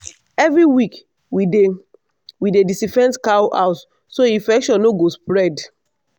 every week we dey we dey disinfect cow house so infection no go spread.